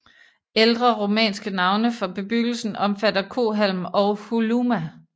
Ældre rumænske navne for bebyggelsen omfatter Cohalm og Holuma